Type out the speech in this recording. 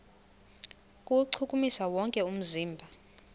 kuwuchukumisa wonke umzimba